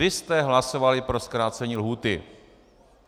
Vy jste hlasovali pro zkrácení lhůty.